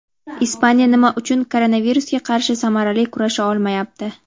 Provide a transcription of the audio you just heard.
Ispaniya nima uchun koronavirusga qarshi samarali kurasha olmayapti?.